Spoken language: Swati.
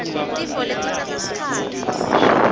tifo letitsatsa sikhatsi